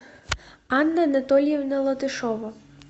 анна анатольевна латышова